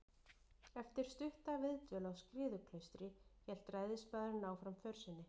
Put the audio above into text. Eftir stutta viðdvöl á Skriðuklaustri hélt ræðismaðurinn áfram för sinni.